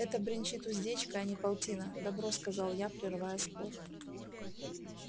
это бренчит уздечка а не полтина добро сказал я прерывая спор